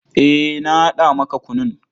Eh, na haɗa maka kunun.